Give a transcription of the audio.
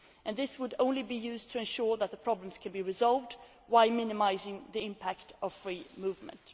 This would only be used to ensure that the problems can be resolved, while minimising the impact on free movement.